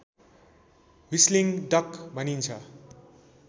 whistling duck भनिन्छ